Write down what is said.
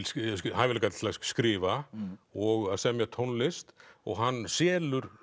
hæfileika til að skrifa og semja tónlist og hann selur